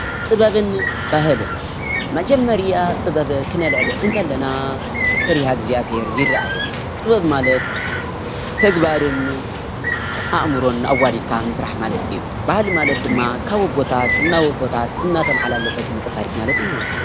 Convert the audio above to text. ጥበብን ባህልን መጀመርያ ጥበብ ክነልዕል እንከለና ፈሪሃ እግዝኣቢሄር ይረኣየና ጥበብ ማለት ተግባርን ኣእምሮን ኣዋዲድካ ምስራሕ ማለት እዩ። ባህሊ ማለት ድማ ካብ ኣቦታት ናብ ኣቦታት እናተመሓላለፈ ዝመፀ ታሪክ ማለት እዩ።